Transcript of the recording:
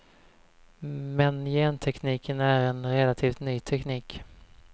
Men gentekniken är en relativt ny teknik.